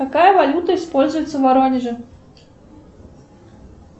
какая валюта используется в воронеже